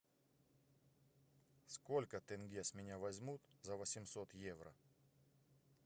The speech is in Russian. сколько тенге с меня возьмут за восемьсот евро